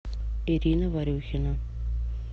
ирина варюхина